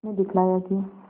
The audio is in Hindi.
उसने दिखलाया कि